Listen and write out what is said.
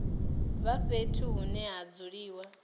vha fhethu hune ha dzuliwa